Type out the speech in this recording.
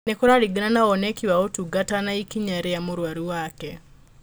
Nĩ kũraringana na woneki wa ũtungata na ikinya rĩa mũrwaru wake